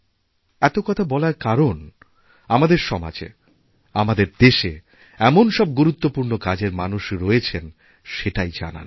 এতো কথা বলার কারণ আমাদের সমাজে আমাদের দেশে এমন সবগুরুত্বপূর্ণ কাজের মানুষ রয়েছেন সেটাই জানানো